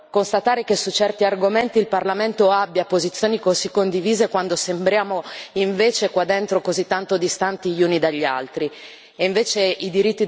A volte è strano constatare che su certi argomenti il Parlamento abbia posizioni così condivise, quando sembriamo invece così tanto distanti gli uni dagli altri.